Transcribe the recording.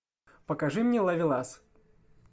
покажи мне ловелас